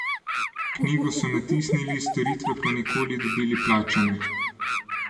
Knjigo so natisnili, storitve pa nikoli dobili plačane.